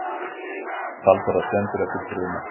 Talsverðar skemmdir eftir bruna